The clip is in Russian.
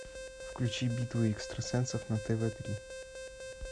включи битва экстрасенсов на тв три